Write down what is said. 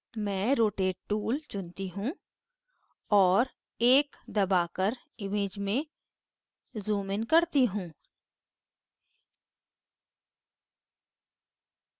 मैं rotate tool चुनती हूँ और 1 दबाकर image में zoom इन करती हूँ